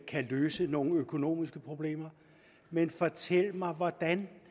kan løse nogle økonomiske problemer men fortæl mig hvordan